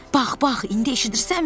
Bax, bax, indi eşidirsənmi?